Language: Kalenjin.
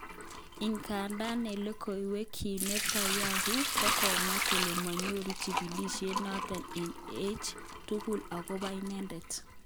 Ingadan eng logoiwek kyik Netanyahu kokamwan kole monyoru chikilishet noton kiy age tugul okobo inedet